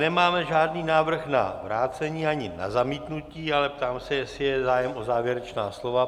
Nemáme žádný návrh na vrácení ani na zamítnutí, ale ptáme se, jestli je zájem o závěrečná slova.